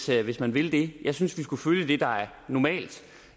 reelt hvis man vil det jeg synes vi skulle følge det der er normalt